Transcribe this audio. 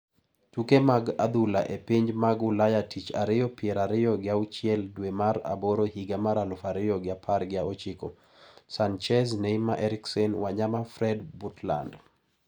Tuke mag adhula e pinje mag Ulaya Tich Ariyo pier ariyo gi auchiel dwe mar aboro higa mar aluf ariyo gi apar gi ochiko: Sanchez, Neymar, Eriksen, Wanyama, Fred, Butland